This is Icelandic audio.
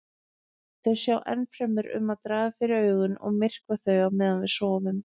Þau sjá ennfremur um að draga fyrir augun og myrkva þau á meðan við sofum.